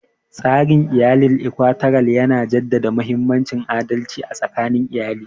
Tsarin iyalin Ikwalateral yana jaddada mahimmancin adalci a tsakanin iyali.